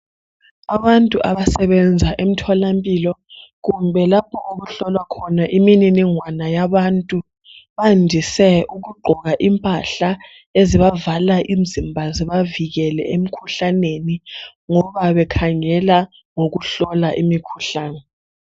abantu abasebenza emtholampilo kumbe lapho okuhlolwa khona imininingwana yabantu bandise ukugqoka impahla ezibavala imzimba zibavikele emkhuhlaneni ngoba bekhangela ngokuhlola imkhuhlane